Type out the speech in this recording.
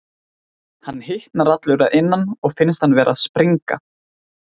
Hann hitnar allur að innan og finnst hann vera að springa.